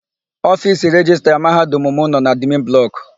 Ofiisi Rejistra Mahadum m nọ n'admin blọkụ.